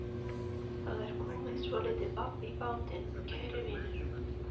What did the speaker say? Það er komið svolítið babb í bátinn, kæri vinur.